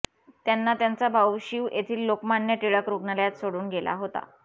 त्यांना त्यांचा भाऊ शीव येथील लोकमान्य टिळक रुग्णालयात सोडून गेला होता